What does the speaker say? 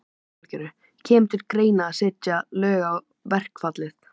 Lillý Valgerður: Kemur til greina að setja lög á verkfallið?